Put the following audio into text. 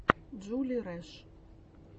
джули рэш